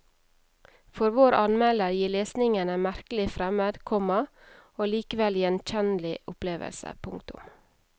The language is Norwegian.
For vår anmelder gir lesningen en merkelig fremmed, komma og likevel gjenkjennelig opplevelse. punktum